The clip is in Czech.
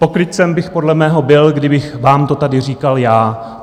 Pokrytcem bych podle mého byl, kdybych vám to tady říkal já.